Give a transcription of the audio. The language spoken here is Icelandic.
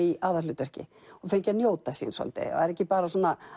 í aðalhlutverki og fengi að njóta sín svolítið en væri ekki bara